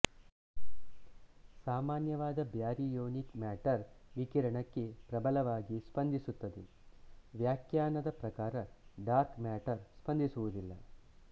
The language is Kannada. ಸಾಮಾನ್ಯವಾದ ಬ್ಯಾರಿಯೊನಿಕ್ ಮ್ಯಾಟರ್ ವಿಕಿರಣಕ್ಕೆ ಪ್ರಬಲವಾಗಿ ಸ್ಪಂದಿಸುತ್ತದೆ ವಾಖ್ಯಾನದ ಪ್ರಕಾರ ಡಾರ್ಕ್ ಮ್ಯಾಟರ್ ಸ್ಪಂದಿಸುವುದಿಲ್ಲ